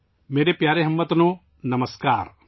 میرے پیارے ہم وطنو، نمسکار